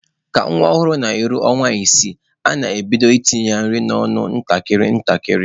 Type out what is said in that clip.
Ka nwa ọhụrụ na-eru ọnwa isii, a na-ebido itinye ya nri n'ọnụ ntakịrị ntakịrị.